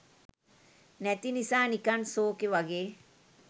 නැති නිසා නිකන් සෝකේ වගේ.